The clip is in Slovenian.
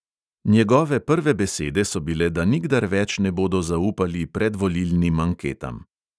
Njegove prve besede so bile, da nikdar več ne bodo zaupali predvolilnim anketam.